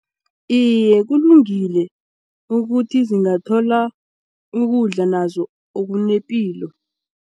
Iye, kulungile ukuthi zingathola ukudla nazo okunepilo.